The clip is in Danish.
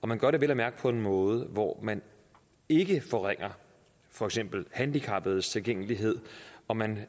man gør det vel at mærke på en måde hvor man ikke forringer for eksempel handicappedes tilgængelighed og man